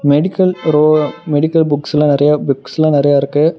Medical row medical புக்ஸ்ல்லா நறைய புக்ஸ்ல்லா நறைய இருக்கு.